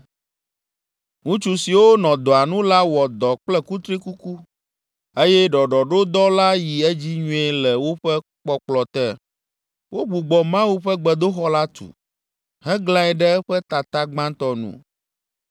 Ŋutsu siwo nɔ dɔa nu la wɔ dɔ kple kutrikuku eye ɖɔɖɔɖodɔ la yi edzi nyuie le woƒe kpɔkplɔ te. Wogbugbɔ Mawu ƒe gbedoxɔ la tu, heglãe ɖe eƒe tata gbãtɔ nu.